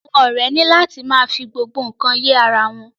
Àwọn ọrẹ ni la ti ma fi gbogbo nkan ye ará wọn.